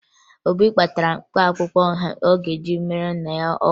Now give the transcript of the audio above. Obi kpatara mkpaakwụkwọ ọ ga-eji meere nna ya ọgwụ